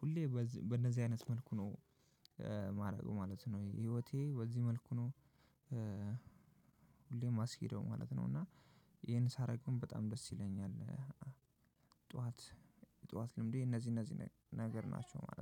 ሁሌም በእንደዚህ አይነት መልኩ ነው። ህይወቴ ማደርገው ማለት ነው ህይወቴ በዚህ መልኩ ነው። የማስኬደው ማለት ነው። እና አሄን ሳደርግ በጣም ደስ ይለኛል። ጠዋት የጠዋት ልምዴ እነዚህ እነዚህ ነገር ናቸው ማለት ነው